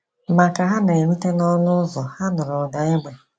Ma ka ha na - erute n’ọnụ ụzọ, ha nụrụ ụda égbè.